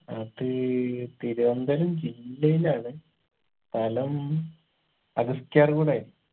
അത് തിരുവനന്തപുരം ജില്ലയിലാണ് സ്ഥലം അഗസ്തിയാർകൂടായിരിക്കും